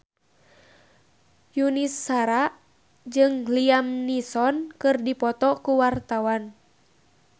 Yuni Shara jeung Liam Neeson keur dipoto ku wartawan